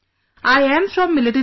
I am from military family